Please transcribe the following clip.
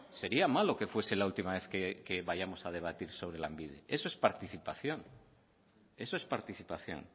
sería malo que fuese la última vez que vayamos a debatir sobre lanbide eso es participación eso es participación